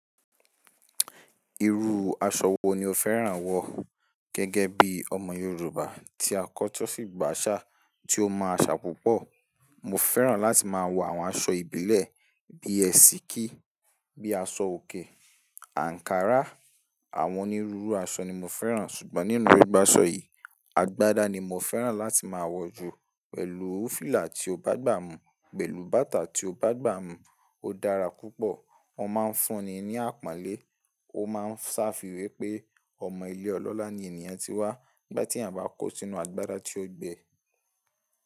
Irú aṣọ wo ni o fẹ́ràn wọ̀ gẹ́gẹ́ bí ọmọ Yorùbá tí a kọ́ tó sì gba àṣà, tí ó mọ àṣà púpọ̀? Mo fẹ́ràn láti máa wọ̀ àwọn aṣọ ìbílẹ̀ bíi ẹṣìkí, bíi aṣọ-òkè, ankara, àwọn onírúurú aṣọ ni mo fẹ́ràn. Ṣùgbọ́n nínú gbogbo aṣọ yìí, agbádá ni mo fẹ́ràn láti máa wọ̀ jù pẹ̀lú fìlà tí ó bá gba mí, pẹ̀lú bàtà tí ó bá gba mí. Ó dára púpọ̀, wọ́n máa ń fúnni ní àpọ́nlé, ó máa ń sá fi we pé ọmọ ilé ọlọ́lá ni ènìyàn tí wá nígbà tí èeyan bá kó sínú agbádá tí ó gbẹ.